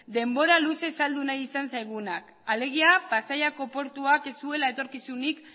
denbora luzez saldu nahi izan zaiguna alegia pasaiako portuak ez zuela etorkizunik